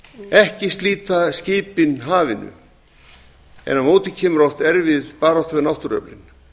ekki slíta skipin hafinu en á móti kemur oft erfið barátta við náttúruöflin